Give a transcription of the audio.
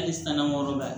Hali san nayɔrɔ la